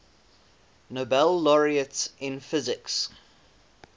nobel laureates in physics